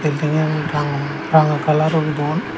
bilding an ranga ranga kalar guri don.